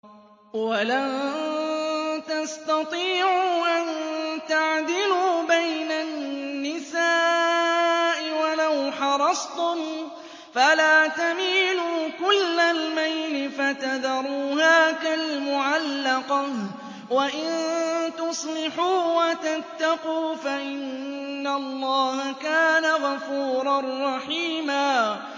وَلَن تَسْتَطِيعُوا أَن تَعْدِلُوا بَيْنَ النِّسَاءِ وَلَوْ حَرَصْتُمْ ۖ فَلَا تَمِيلُوا كُلَّ الْمَيْلِ فَتَذَرُوهَا كَالْمُعَلَّقَةِ ۚ وَإِن تُصْلِحُوا وَتَتَّقُوا فَإِنَّ اللَّهَ كَانَ غَفُورًا رَّحِيمًا